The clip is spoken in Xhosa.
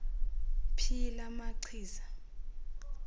phi la machiza